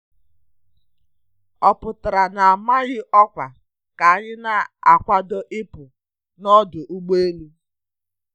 Ọ pụtara n'amaghị ọkwa ka anyị na akwado ịpụ n'ọdụ ụgbọ elu.